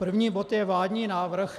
První bod je vládní návrh.